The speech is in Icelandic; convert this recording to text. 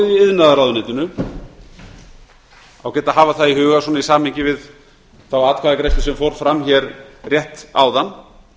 iðnaðarráðuneytinu það er ágætt að hafa það í huga í samhengi við þá atkvæðagreiðslu sem fór fram rétt áðan